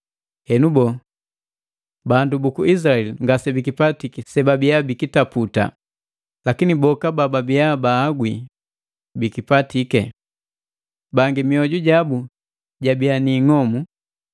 Henu boo? Bandu buku Izilaeli ngase bikipatiki sebabia bikitaputa, lakini boka bababia baahagwi bikipatiki. Bangi mioju jabu jabia ni ing'omu,